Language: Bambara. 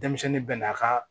Denmisɛnnin bɛ n'a ka